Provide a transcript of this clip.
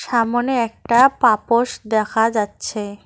সামোনে একটা পাপোশ দেখা যাচ্ছে।